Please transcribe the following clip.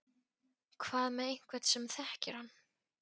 Hvað með einhvern sem þekkir hann?